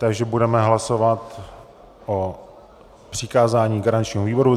Takže budeme hlasovat o přikázání garančnímu výboru.